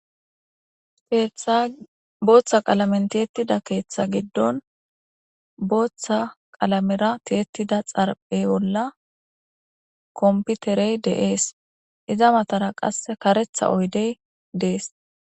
Keethtabooththa qalamenteettida keeththa giddon booththa qalamera tiyettida xarpey bolla komputerey de7ees iza matara qasse karetha oydey dees.